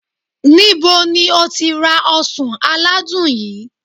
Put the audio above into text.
nibo ni o ti ra osan aladun yii?